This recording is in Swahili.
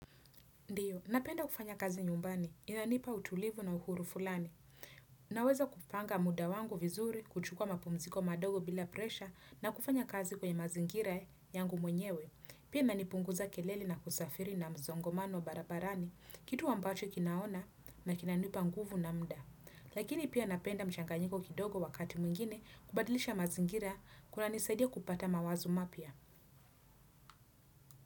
Ndiyo, napenda kufanya kazi nyumbani. Inanipa utulivu na uhuru fulani. Naweza kupanga muda wangu vizuri, kuchukua mapumziko madogo bila presha na kufanya kazi kwenye mazingira yangu mwenyewe. Pia nanipunguza kelele na kusafiri na msongomano barabarani, kitu ambacho kinaona na kinanipa nguvu na muda. Lakini pia napenda mchanganyiko kidogo wakati mwingine kubadilisha mazingira kunanisaidia kupata mawazo mapya.